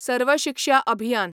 सर्व शिक्षा अभियान